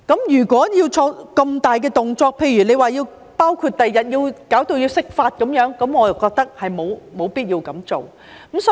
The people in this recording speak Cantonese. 如果要作出那麼大的動作，例如將來弄至要釋法，我便認為沒有必要這樣做。